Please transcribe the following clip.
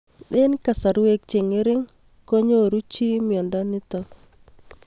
Eng'kasarwek che ng'ering konyoruchii miondo nitok